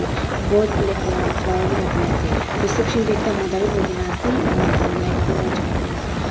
both black colour tae flower bi rakhina ase reception tae ekta mota bi boikae na ase aro yatae tu light .]